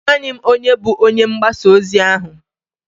Amaghị m onye bụ onye ngbasa ozi ahụ.